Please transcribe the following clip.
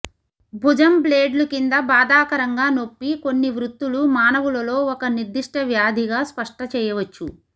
భుజం బ్లేడ్లు క్రింద బాధాకరంగా నొప్పి కొన్ని వృత్తులు మానవులలో ఒక నిర్దిష్ట వ్యాధి గా స్పష్ట చేయవచ్చు